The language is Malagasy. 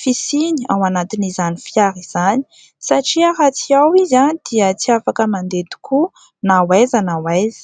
fisiany ao anatin'izany fiara izany satria raha tsy ao izy dia tsy afaka mandeha tokoa na hoaiza na hoaiza.